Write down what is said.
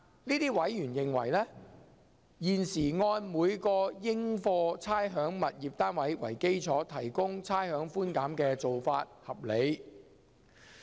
這些委員認為，現時按每個應課差餉物業單位為基礎提供差餉寬減的做法合理。